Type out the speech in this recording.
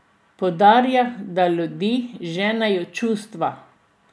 Poudarja, da ljudi ženejo čustva.